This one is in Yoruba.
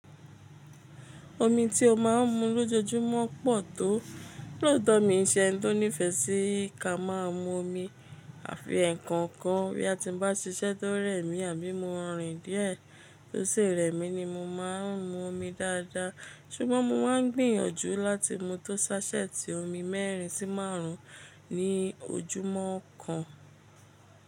Omi tí ó má ń mu lójoojúmọ́ pọ̀ tó. Lóotọ̀ mí ń ṣe ẹni tó nífẹsí ká má a mu omi àfi ẹǹkọkan. Bí a ti ń bá ṣiṣẹ́ tó rẹ̀ mí àbí mo rìn díẹ̀ tó sirẹ̀ mí ni mo má ń mu omi dáadáa. Ṣùgbọ́n mo máa ń gbìyànjú láti mu tó ṣáṣẹ́ẹ̀tì omi mẹ́rin sí márùn ún ní ojúmọ́ kan.